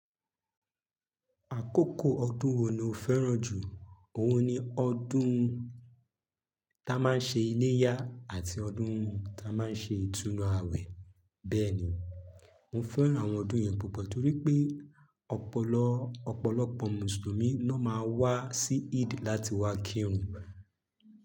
Àkókò ọdún wo ni o fẹ́ràn jù? Òun ni ọdún táa máa ń ṣe iléyá àti ọdún táa máa ń ṣe ìtúnu àwẹ̀. Bẹ́ẹ̀ ni, mo fẹ́ràn àwọn ọdún yẹn púpọ̀ torí pé ọ̀pọ̀lọpọ̀ musulumi ló máa wá sí Eid láti wá kírun.